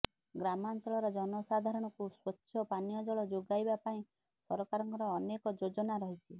ଗ୍ରାମାଂଚଳର ଜନସାଧାରଣଙ୍କୁ ସ୍ୱଚ୍ଛ ପାନୀୟ ଜଳ ଯୋଗାଇବା ପାଇଁ ସରକାରଙ୍କର ଅନେକ ଯୋଜନା ରହିଛି